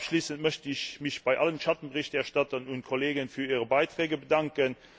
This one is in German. Abschließend möchte ich mich bei allen Schattenberichterstattern und Kollegen für ihre Beiträge bedanken.